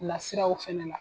Lasiraw fɛnɛ la.